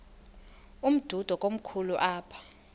umdudo komkhulu apha